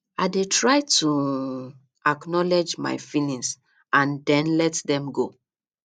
i dey try to um acknowledge my feelings and then let dem go